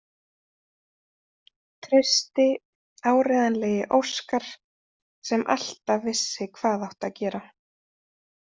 Trausti, áreiðanlegi Óskar sem alltaf vissi hvað átti að gera.